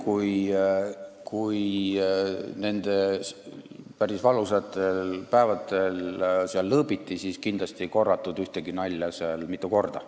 Juhul, kui nendel päris valusatel päevadel lõõbiti, siis kindlasti ei korratud seal ühtegi nalja mitu korda.